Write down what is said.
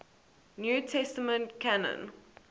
new testament canon